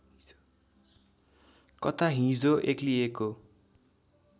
कता हिजो एक्लिएको